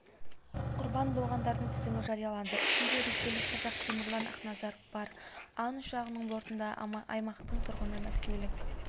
құрбан болғандардың тізімі жарияланды ішінде ресейлік қазақ темірлан ақназаров бар ан ұшағының бортында аймақтың тұрғыны мәскеулік